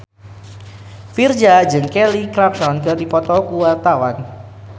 Virzha jeung Kelly Clarkson keur dipoto ku wartawan